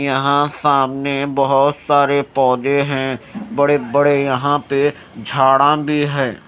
यहां सामने बहोत सारे पौधे हैं बड़े बड़े यहां पे झाड़ा भी है।